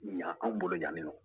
Yan anw bolo yan nɔ